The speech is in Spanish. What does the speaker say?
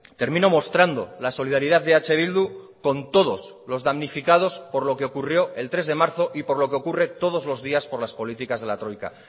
termino mostrando la solidaridad de eh bildu con todos los damnificados por lo que ocurrió el tres de marzo y por lo que ocurre todos los días por las políticas de la troika